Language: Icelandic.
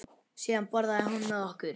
Síðan borðaði hún með okkur.